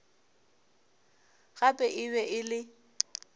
gape e be e le